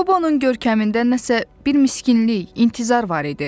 Qobonun görkəmində nəsə bir miskinlik, intizar var idi.